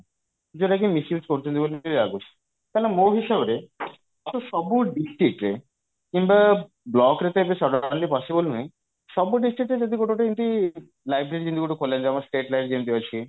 ଯଉଟା କି misuse କରୁଛନ୍ତି ବୋଲି ବି ଲାଗୁଛି କାରବ ମୋ ହିସାବରେ ସବୁ district ରେ କିମ୍ବା block ରେ ତ ଏବେ ସାଧାରଣତଃ possible ନୁହେଁ ସବୁ ଡିସଟ୍ରିକ୍ଟ ରେ ଯଦି ଗୋଟେ ଏମିତି library ଯେମିତି ଗୋଟେ ଖୋଲା ହେଇଛି ଆମର state library ଯେମିତି ଅଛି